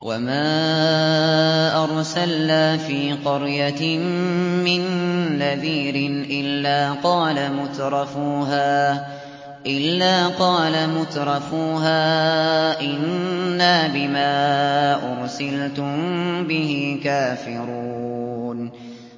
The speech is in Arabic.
وَمَا أَرْسَلْنَا فِي قَرْيَةٍ مِّن نَّذِيرٍ إِلَّا قَالَ مُتْرَفُوهَا إِنَّا بِمَا أُرْسِلْتُم بِهِ كَافِرُونَ